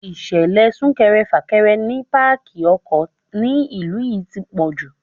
Ìṣẹ̀lẹ̀ súnkẹrẹ fàkẹrẹ ni pákí ọkọ̀ ni ìlú yí ti pọ̀jù.